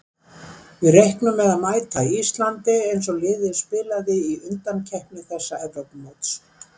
Við reiknum með að mæta Íslandi eins og liðið spilaði í undankeppni þessa Evrópumóts.